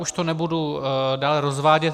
Už to nebudu dále rozvádět.